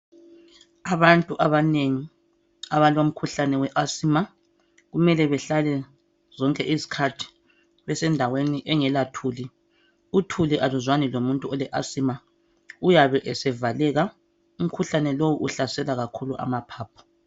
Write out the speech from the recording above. Abantu abanengi abalomkhuhlane we asima kumele behlale zonke izikhathi besendaweni engela thuli. Uthuli aluzwani lomuntu oleasima uyabe esevaleka, umkhuhlane lowu uhlasela ikakhulu amaphaphu.